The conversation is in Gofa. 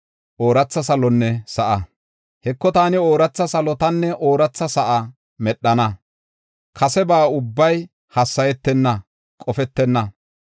“Heko, taani ooratha salotanne ooratha sa7a medhana; kaseba ubbay hassayetenna; qofetenna.